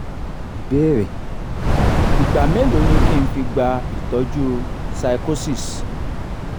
ìbéèrè: igba melo ni ki n fi gba itoju pyschosis?